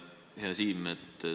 Hea Siim!